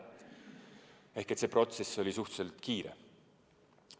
Seega see protsess oli suhteliselt kiire.